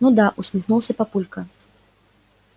ну да усмехнулся папулька